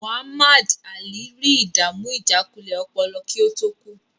Muhammad Alli rí ìdàmú ìjákulẹ̀ ọpọlọ kí ó tó kú.